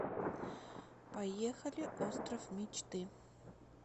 поехали остров мечты